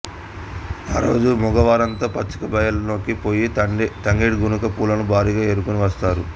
ఆ రోజు మగవారంతా పచ్చిక బయళ్ళలోనికి పోయి తంగేడి గునుక పూలను భారీగా ఏరుకుని వస్తారు